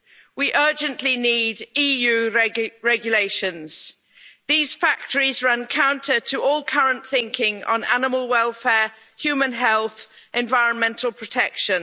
We urgently need EU regulations. These factories run counter to all current thinking on animal welfare, human health and environmental protection.